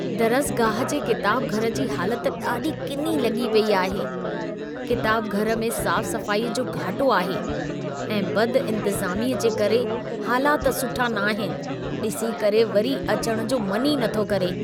दरसगाह जे किताबघरु जी हालति ॾाढी किनी लॻी पेई आहे। किताबघरु में साफ़-सफ़ाई जो घाटो आहे ऐं बदि-इंतिज़ामी जे करे हालाति सुठा नाहिनि। डि॒सी करे वरी अचणु जो मन ई नथो करे।